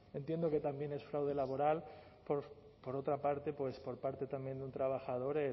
entiendo que también es fraude laboral por otra parte pues por parte también de un trabajador